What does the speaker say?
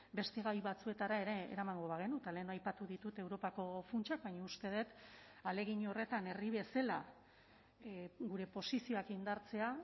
beste gai batzuetara ere eramango bagenu eta lehen aipatu ditut europako funtsak baina uste dut ahalegin horretan herri bezala gure posizioak indartzea